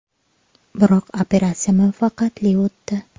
Biroq operatsiya muvaffaqiyatli o‘tdi.